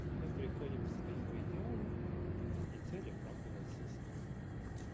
мы приходим к своему идеалу и цель оправдывает средства